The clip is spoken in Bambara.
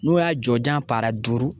N'u y'a jɔjan paara duuru